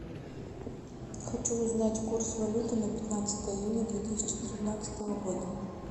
хочу узнать курс валюты на пятнадцатое июня две тысячи тринадцатого года